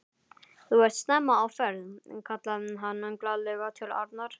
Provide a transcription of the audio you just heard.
Þú ert snemma á ferð! kallaði hann glaðlega til Arnar.